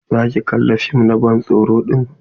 Za ki kalla fim na ban tsoro din?